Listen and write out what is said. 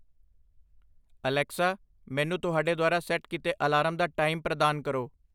Alexa, ਮੈਨੂੰ ਤੁਹਾਡੇ ਦੁਆਰਾ ਸੈੱਟ ਕੀਤੇ ਅਲਾਰਮ ਦਾ ਟਾਈਮ ਪ੍ਰਦਾਨ ਕਰੋ।